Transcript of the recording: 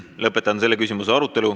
Lõpetan selle küsimuse arutelu.